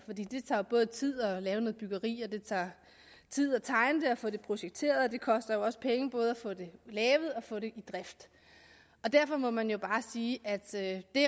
det tager jo både tid at lave noget byggeri og det tager tid at tegne det og få det projekteret og det koster jo også penge både at få det lavet og få det i drift derfor må man jo bare sige at det